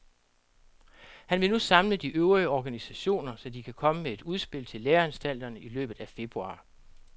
Han vil nu samle de øvrige organisationer, så de kan komme med et udspil til læreanstalterne i løbet af februar.